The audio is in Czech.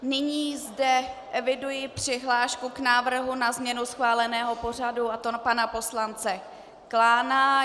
Nyní zde eviduji přihlášku k návrhu na změnu schváleného pořadu, a to pana poslance Klána.